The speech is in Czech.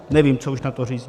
Nevím, co už na to říct.